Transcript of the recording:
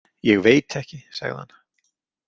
Ég veit ekki, sagði hann.